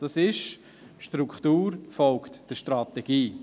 Die Struktur folgt der Strategie.